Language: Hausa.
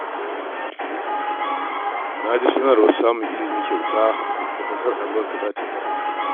Na ji sanarwar samun ilimi kyauta da ƙasar Amurka za ta bayar